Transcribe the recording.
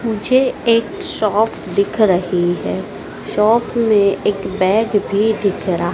मुझे एक शॉप दिख रही है शॉप में एक बैग भी दिख रा--